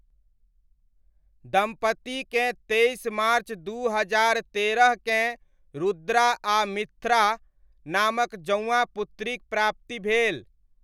दम्पतिकेँ तेइस मार्च दू हजार तेरहकेँ रुद्रा आ मिथ्रा नामक जउआँ पुत्रीक प्राप्ति भेल।